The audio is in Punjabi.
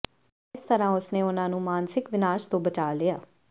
ਇਸ ਤਰ੍ਹਾਂ ਉਸਨੇ ਉਨ੍ਹਾਂ ਨੂੰ ਮਾਨਸਿਕ ਵਿਨਾਸ਼ ਤੋਂ ਬਚਾ ਲਿਆ